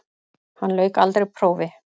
Hann lauk aldrei prófi.